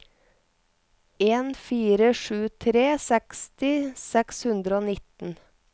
en fire sju tre seksti seks hundre og nitten